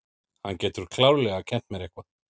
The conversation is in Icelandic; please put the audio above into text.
Hann getur klárlega kennt mér eitthvað.